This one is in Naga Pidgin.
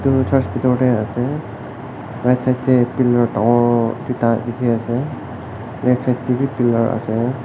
edu church bitor de ase right side de pillar duita dikhi ase left side de b pillar ase.